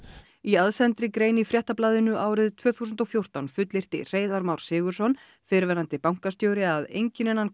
í aðsendri grein í Fréttablaðinu árið tvö þúsund og fjórtán fullyrti Hreiðar Már Sigurðsson fyrrverandi bankastjóri að enginn innan